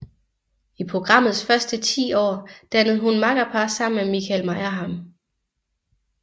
I programmets første 10 år dannede hun makkerpar sammen med Michael Meyerheim